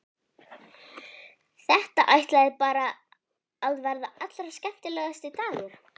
Þetta ætlaði bara að verða allra skemmtilegasti dagur.